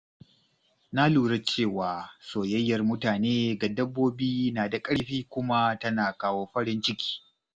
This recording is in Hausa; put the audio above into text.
Na lura cewa soyayyar mutane ga dabbobi na da ƙarfi kuma tana kawo farin ciki.